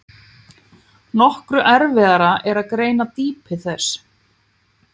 Nokkru erfiðara er að greina dýpi þess.